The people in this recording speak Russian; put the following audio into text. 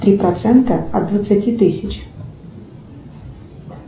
три процента от двадцати тысяч